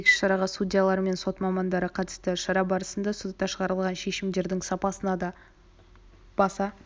айта кетейік іс-шараға судьялар мен сот мамандары қатысты шара барысында сотта шығарылған шешімдердің сапасына да баса